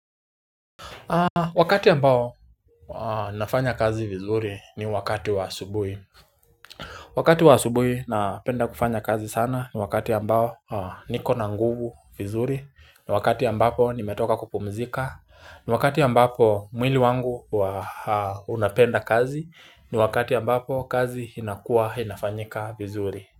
Wakati ambao nafanya kazi vizuri ni wakati wa asubuhi. Wakati wa asubuhi napenda kufanya kazi sana ni wakati ambao niko na nguvu vizuri ni wakati ambapo nimetoka kupumzika ni wakati ambapo mwili wangu unapenda kazi ni wakati ambapo kazi inakuwa inafanyika vizuri.